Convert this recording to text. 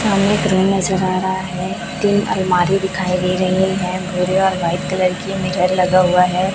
पानी पूरी नजर आ रहा है तीन अलमारी दिखाई दे रही हैं भूरे और व्हाइट कलर की मिरर लगा हुआ है।